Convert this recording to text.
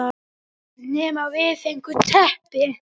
Nema við, við fengum teppi.